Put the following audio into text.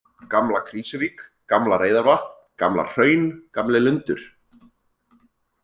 Gamla-Krýsuvík, Gamla-Reyðarvatn, Gamlahraun, Gamli-Lundur